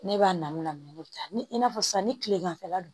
Ne b'a namu la mɛ ne bɛ taa ni i n'a fɔ sisan ni kileganfɛla don